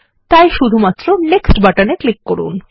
তাই শুধুমাত্র নেক্সট বাটনে ক্লিক করুন